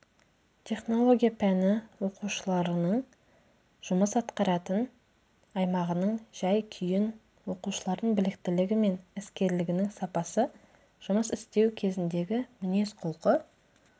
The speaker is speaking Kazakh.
технология пәні оқушыларының жұмыс атқаратын аймағының жай-күйін оқушылардың біліктілігі мен іскерлігінің сапасы жұмыс істеу кезіндегі мінез-құлқы